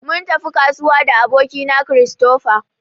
Mun tafi kasuwa da aboki na Christopher.